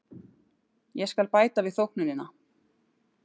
Ég skal bæta við þóknunina.